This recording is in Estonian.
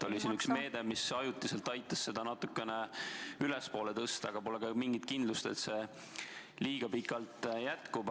Oli üks meede, mis ajutiselt aitas seda natuke ülespoole tõsta, aga pole mingit kindlust, et see pikalt jätkub.